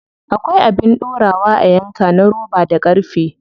Akwai abin dorawa a yanka na roba da ƙarfe.